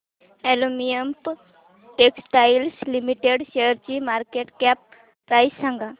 Olympia Textiles Limited शेअरची market cap price सांगा